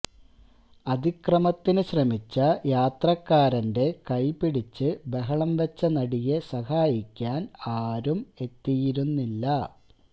അതിക്രമത്തിന് ശ്രമിച്ച യാത്രക്കാരന്റെ കൈപിടിച്ച് ബഹളം വച്ച നടിയെ സഹായിക്കാന് ആരും എത്തിയിരുന്നില്ല